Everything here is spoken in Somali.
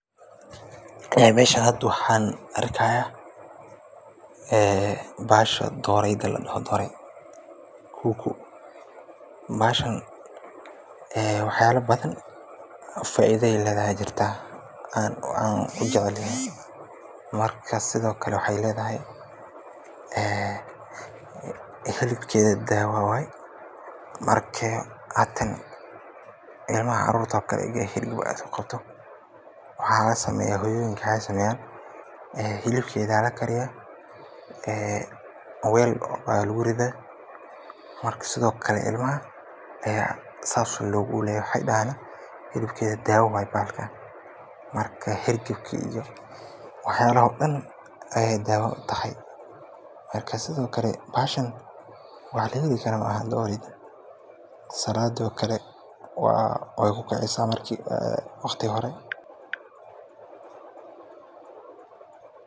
Ee meshan hadaa waxa arkaya ee bahasho dooraydo ladoho kuku. Bahashan waxa yaala badhan faaidha ay ledhahay jirta aan kujeclehe marka sidha okale waxay ledhahay xilibkedha daawo waaye marka ilamaha carurto oo kale ayga xiliib oo nogoto waxala sameeya hooyoyinka waxay sameyan xilibkeedha lakariya weel aya laguridha marka sidho kale ilmaha aya saas loogo kuleleya waxay dahaan xilibkeedha dawo waye bahalkaan marka xargaab kii iyo waxayalaha oo daan ayay daawo utahay marka sidhii okale bahashan waxa lageheli kara salaadi oo kale waykukicisa waqti hore.